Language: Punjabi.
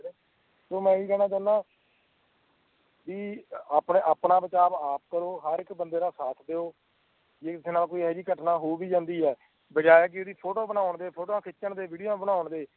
ਮੈ ਇਹੀ ਕਿਨਾਂ ਚਾਹੀਦਾ ਕਿ ਆਪਣਾ ਬਚਾਵ ਆਪ ਕਰੋ ਹਰ ਇੱਕ ਬੰਦੇ ਦਾ ਸ਼ਾਥ ਦਿਓ ਜੇ ਕਿਸੇ ਨਾਲ ਇਹੋ ਜਹੀ ਘਟਨਾਂ ਹੋ ਵੀ ਜਾਂਦੀ ਹੈ ਬਜ਼ਾਏ ਓਦੀ ਫੋਟੋ ਬਣਾ ਫੋਟੋ ਖਿੱਚਣ ਤੇ ਵੀਡੀਓ ਬਣਾ ਤੇ